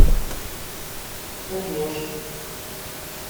пудож